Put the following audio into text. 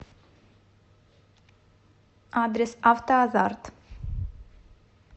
адрес автоазарт